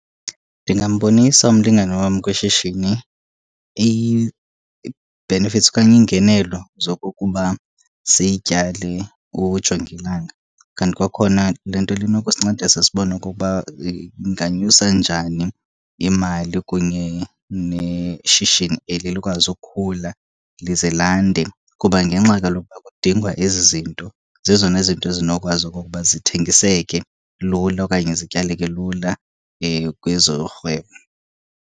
Ndingambonisa umlingane wam kwishishini ii-benefits okanye iingenelo zokokuba sityale ujongilanga. Kanti kwakhona le nto le inokusincedisa sibone okokuba inganyusa njani imali kunye neshishini eli likwazi ukukhula lize lande. Kuba ngengxa kaloku uba kudingwa ezi zinto, zezona zinto zinokwazi okokuba zithengiseke lula okanye zityaleke lula kwezorhwebo.